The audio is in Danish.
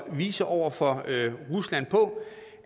vise over for rusland